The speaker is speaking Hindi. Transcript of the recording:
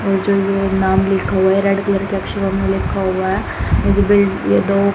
और जो ये नाम लिखा हुआ है रेड कलर के अक्षरो में लिखा हुआ है दो--